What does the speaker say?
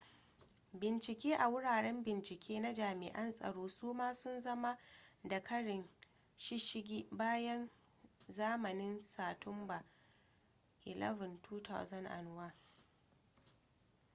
bincike a wuraren bincike na jami'an tsaro su ma sun zama da karin shishigi bayan zamanin satumba 11 2001